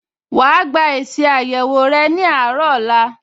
Wà á gba èsì àyẹ̀wò rẹ ní àárọ̀ ọ̀la